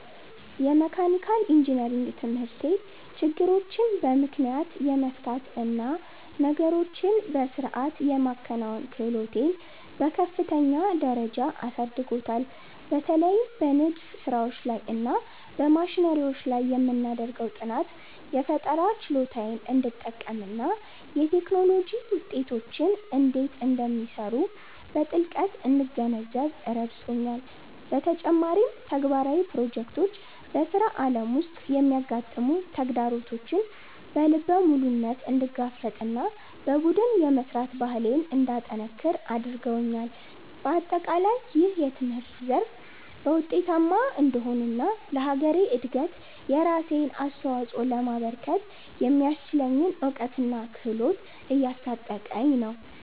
የመካኒካል ኢንጂነሪንግ ትምህርቴ ችግሮችን በምክንያት የመፍታት እና ነገሮችን በሥርዓት የማከናወን ክህሎቴን በከፍተኛ ደረጃ አሳድጎታል። በተለይም በንድፍ ሥራዎች እና በማሽነሪዎች ላይ የምናደርገው ጥናት፣ የፈጠራ ችሎታዬን እንድጠቀምና የቴክኖሎጂ ውጤቶች እንዴት እንደሚሰሩ በጥልቀት እንድገነዘብ ረድቶኛል። በተጨማሪም፣ ተግባራዊ ፕሮጀክቶች በሥራ ዓለም ውስጥ የሚያጋጥሙ ተግዳሮቶችን በልበ ሙሉነት እንድጋፈጥና በቡድን የመሥራት ባህሌን እንዳጠነክር አድርገውኛል። በአጠቃላይ፣ ይህ ትምህርት በዘርፉ ውጤታማ እንድሆንና ለሀገሬ እድገት የራሴን አስተዋፅኦ ለማበርከት የሚያስችለኝን እውቀትና ክህሎት እያስታጠቀኝ ነው።